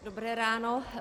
Dobré ráno.